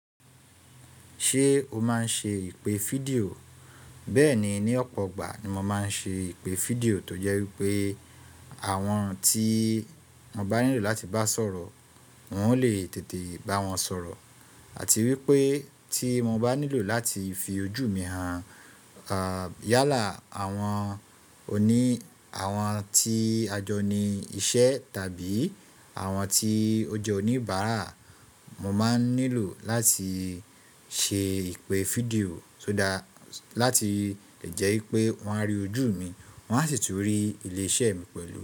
Ṣé o máa ń ṣe ìpè fídíò? Bẹ́ẹ̀ni, ní ọ̀pọ̀ ọgbà ni mo máa ń ṣe ìpè fídíò tó jẹ́ wípé àwọn tí mo bá nílò láti bá sọ̀rọ̀, n ò lé tètè bá wọn sọ̀rọ̀ àti wípé tí mo bá nílò láti fi ojú mi hàn, yálà àwọn oní, àwọn tí a jọ ni iṣẹ́ tàbí àwọn tí ó jẹ́ oníbàárà, mo máa ń nílò láti ṣe ìpè fídíò tó dá láti lè jẹ́ wípé wọ́n á rí ojú mi, wọ́n á sì tún rí ilé-iṣẹ́ mi pẹ̀lú.